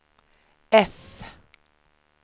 F